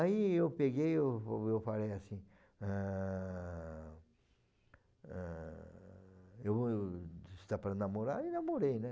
Aí, eu peguei eu eu falei assim, ãh ãh eu vou, se dá para namorar, eu namorei, né?